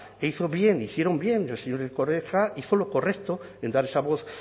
e hizo bien hicieron bien el señor erkoreka hizo lo correcto en dar esa voz